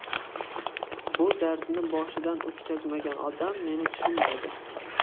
Bu dardni boshidan o‘tkazmagan odam meni tushunmaydi.